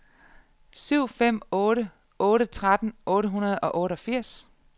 syv fem otte otte tretten otte hundrede og otteogfirs